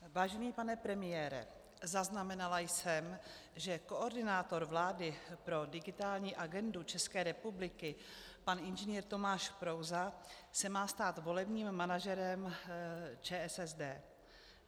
Vážený pane premiére, zaznamenala jsem, že koordinátor vlády pro digitální agendu České republiky pan Ing. Tomáš Prouza se má stát volebním manažerem ČSSD.